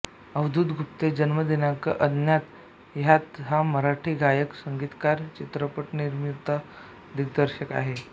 अवधूत गुप्ते जन्मदिनांक अज्ञात हयात हा मराठी गायक संगीतकार चित्रपटनिर्माता दिग्दर्शक आहे